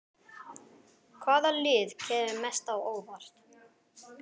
Hvaða lið kemur mest á óvart?